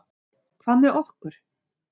Hvað með okkur?